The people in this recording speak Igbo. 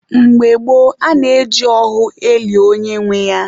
Mgbe gboo, a na-eji ohu eli onye nwe ya.